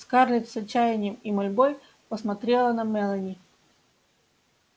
скарлетт с отчаянием и мольбой посмотрела на мелани